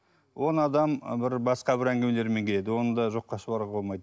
он адам бір басқа бір әңгімелермен келеді оны да жоққа шығаруға болмайды